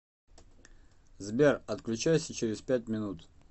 сбер отключайся через пять минут